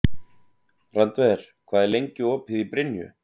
Randver, hvað er lengi opið í Brynju?